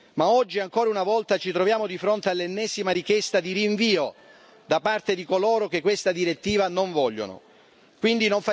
Ma oggi, ancora una volta, ci troviamo di fronte all'ennesima richiesta di rinvio da parte di coloro che non vogliono questa direttiva.